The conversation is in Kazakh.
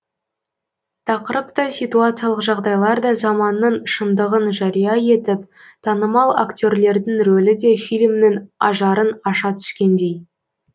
тақырып та ситуациялық жағдайлар да заманның шындығын жария етіп танымал акте рлердің рөлі де фильмнің ажарын аша түскендей